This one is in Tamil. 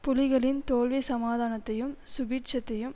புலிகளின் தோல்வி சமாதானத்தையும் சுபீட்சத்தையும்